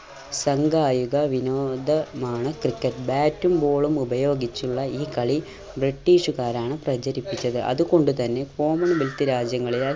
സംഗായിക വിനോദമാണ് cricket bat ഉം ball ഉം ഉപയോഗിച്ചുള്ള ഈ കളി british കാരാണ് പ്രചരിപ്പിച്ചത്. അതുകൊണ്ട് തന്നെ common wealth രാജ്യങ്ങളിലായി